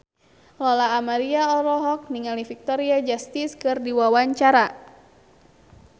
Lola Amaria olohok ningali Victoria Justice keur diwawancara